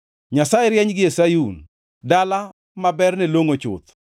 Nyasaye rieny gie Sayun, dala ma berne longʼo chuth.